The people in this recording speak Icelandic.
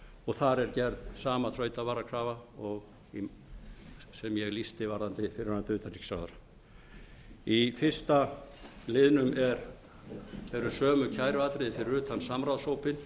og þar er gerð sama þrautavarakrafa sem ég lýsti varðandi fyrrverandi utanríkisráðherra í fyrsta liðnum eru sömu kæruatriði fyrir utan samráðshópinn